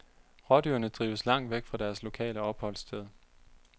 Rådyrene drives langt væk fra deres lokale opholdssted.